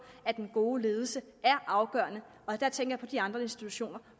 at den gode ledelse er afgørende og der tænker jeg på de andre institutioner